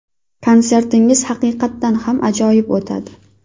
Konsertingiz haqiqatdan ham ajoyib o‘tadi.